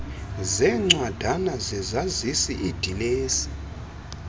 zeencwadana zezazisi iidilesi